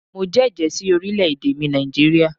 Mo jẹ́jẹ̀ ẹ́ sí orílẹ̀ èdè mi Nàìjíríà